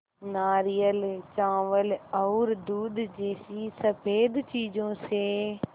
नारियल चावल और दूध जैसी स़फेद चीज़ों से